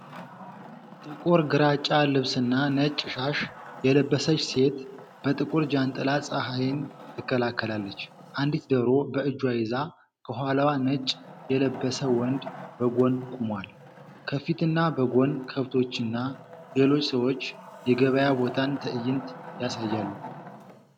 ጥቁር ግራጫ ልብስና ነጭ ሻሽ የለበሰች ሴት በጥቁር ጃንጥላ ፀሐይን ትከላከላለች። አንዲት ዶሮ በእጇ ይዛ፤ ከኋላዋ ነጭ የለበሰ ወንድ በጎን ቆሟል። ከፊትና ከጎን ከብቶችና ሌሎች ሰዎች የገበያ ቦታን ትዕይንት ያሳያሉ።